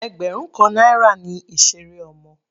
Ẹgbẹrun kan náírà ni ìseré ọmọ.